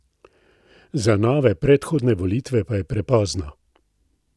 Za nove predhodne volitve pa je prepozno.